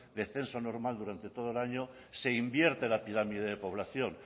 de censo normal durante todo el año se invierte la pirámide de población